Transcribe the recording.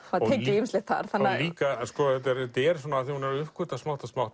ýmislegt þar hún er að uppgötva smátt og smátt